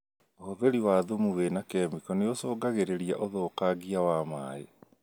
ũhũthĩri wa thumu wna kemiko nĩũcũngagĩrĩria ũthũkangia wa maĩ